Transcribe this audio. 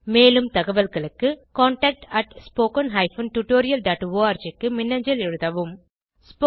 மேலும் தகவல்களுக்கு contactspoken tutorialorg க்கு மின்னஞ்சல் எழுதவும்